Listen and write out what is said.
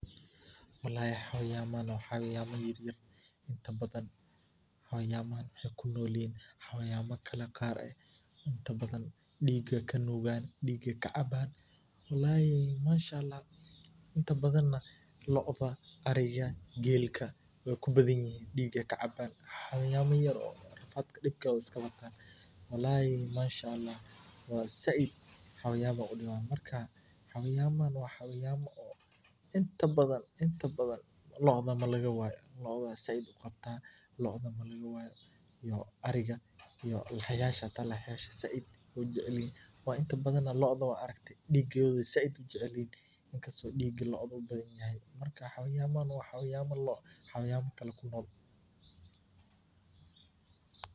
Walahi hawayama wa hawayama yaryar intabada hawayamahan waxay kunolyihin hawayama kale qaar ah, diiga nugaan digay kacaban, walahi manshaalax inta badan looda ariga gelka way kubadan yihin diga kacaban, hawayama yar oo dibkoda iskabata walahi manshaalax wa zaid hawayama udiwan, hawayamahan wa hawayama oo inta badan looda iyo ariga , lahyasha hata zaid ayu ujecelyahay, looda wad aragtay digeeda ayu zaid ujecelyehe, digaa loodu ubadanyaxay, marka hawayanyahan wa hawayan loo, hawayama kale kunol.